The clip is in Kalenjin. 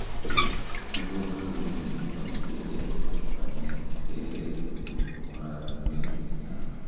Kiborien miondap kelek ak panyekab kelek en oratinwek chechang'.